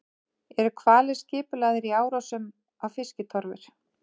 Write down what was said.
Eru hvalir skipulagðir í árásum á fiskitorfur?